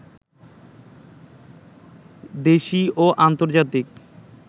দেশি ও আন্তর্জাতিক